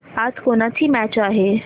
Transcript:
आज कोणाची मॅच आहे